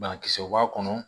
Banakisɛw b'a kɔnɔ